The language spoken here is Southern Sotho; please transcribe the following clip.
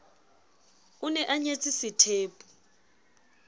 o ne a nyetse sethepu